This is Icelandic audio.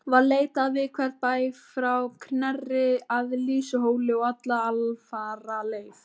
Var leitað við hvern bæ frá Knerri að Lýsuhóli og alla alfaraleið.